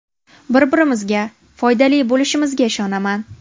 Bir-birimizga foydali bo‘lishimizga ishonaman.